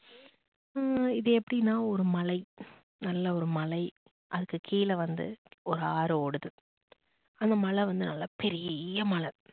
உம் இது எப்படின்னா இது ஒரு மலை நல்ல ஒரு மலை. அதுக்கு கீழ வந்து ஒரு ஆறு ஓடுது. அந்த மலை வந்து நல்ல பெரிய மலை